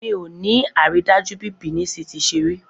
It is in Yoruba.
Miò ní àrídájú bí Benin City ṣe rí